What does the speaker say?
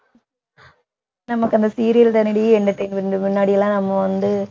நமக்கு அந்த serial தானடி entertainment முன்னாடிலாம் நம்ம வந்து